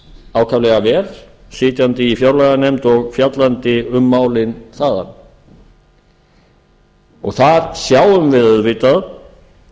ákaflega vel sitjandi í fjárlaganefnd og fjallandi um málin þaðan þar sjáum við auðvitað